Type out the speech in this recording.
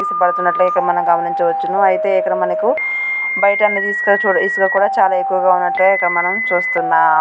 ఎగసి పడుతున్నట్లైతే మనము గమనయించవచ్చును అయితే ఇక్కడ మనకు బయట అనేది ఇసుక ఇసుక అన్నది చాలా ఎక్కువగా ఉన్నట్లే మనం చూస్తున్నా --